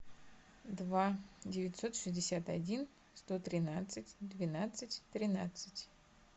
два девятьсот шестьдесят один сто тринадцать двенадцать тринадцать